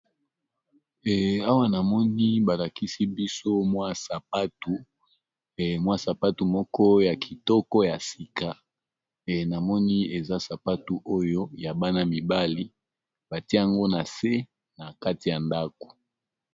Awa namoni balakisi biso mwa sapatu moko ya kitoko ya sika namoni eza sapatu oyo ya bana mibali batiango na se na kati ya ndako.